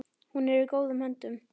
Hún er í góðum höndum.